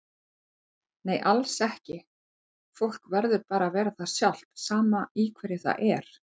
Nei alls ekki, fólk verður bara að vera það sjálft sama í hverju það er.